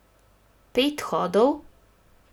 Pet hodov?